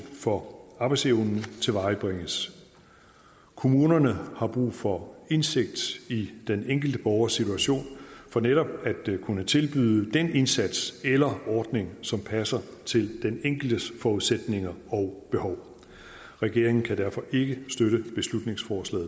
for arbejdsevnen tilvejebringes kommunerne har brug for indsigt i den enkelte borgers situation for netop at kunne tilbyde den indsats eller ordning som passer til den enkeltes forudsætninger og behov regeringen kan derfor ikke støtte beslutningsforslag